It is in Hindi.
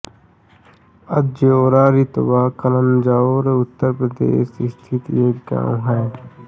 अज्योरा तिरवा कन्नौज उत्तर प्रदेश स्थित एक गाँव है